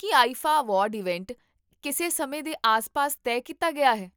ਕੀ IIFA award event ਕਿਸੇ ਸਮੇਂ ਦੇ ਆਸ ਪਾਸ ਤਹਿ ਕੀਤਾ ਗਿਆ ਹੈ?